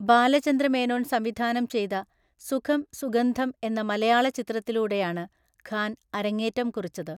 ബാലചന്ദ്ര മേനോൻ സംവിധാനം ചെയ്ത സുഖം സുഗന്ധം എന്ന മലയാള ചിത്രത്തിലൂടെയാണ് ഖാൻ അരങ്ങേറ്റം കുറിച്ചത്.